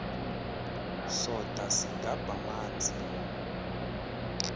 soda sigabh amanzi